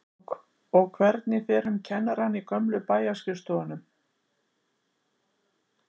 Og hvernig fer um kennarana í gömlu bæjarskrifstofunum?